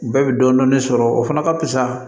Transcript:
Bɛɛ bɛ dɔɔnin dɔɔnin sɔrɔ o fana ka fisa